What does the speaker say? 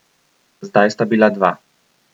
Zdaj sta bila dva.